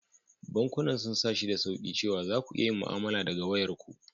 Bankunan sun sa shi da sauƙi cewa za ku iya yin mu'amala daga wayarku.